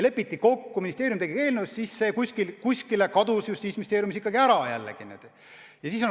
Lepiti kokku ja ministeerium tegi eelnõu, aga see kadus Justiitsministeeriumis kuhugi ära.